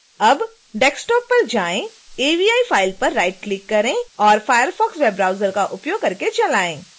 अब desktop पर जाएं avi फ़ाइल पर राइट क्लिक करें और firefox web browser का उपयोग करके चलाएँ